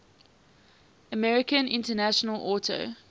american international auto